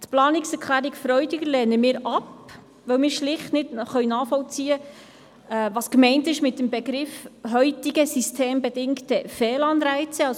Die Planungserklärung Freudiger lehnen wir ab, weil wir schlicht nicht nachvollziehen können, was mit dem Begriff «heutige systembedingte Fehlanreize» gemeint ist.